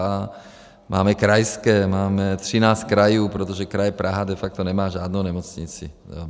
A máme krajské, máme 13 krajů, protože kraj Praha de facto nemá žádnou nemocnici.